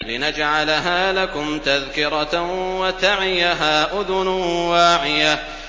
لِنَجْعَلَهَا لَكُمْ تَذْكِرَةً وَتَعِيَهَا أُذُنٌ وَاعِيَةٌ